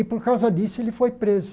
E, por causa disso, ele foi preso.